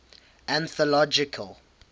anthological